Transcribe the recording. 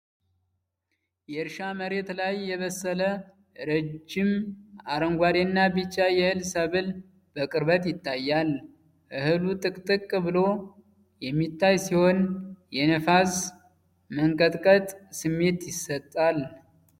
የእርሻ መሬት ላይ የበሰለ፣ ረዥም አረንጓዴና ቢጫ የእህል ሰብል በቅርበት ይታያል። እህሉ ጥቅጥቅ ብሎ የሚታይ ሲሆን፣ የነፋስ መንቀጥቀጥ ስሜት ይሰጣል።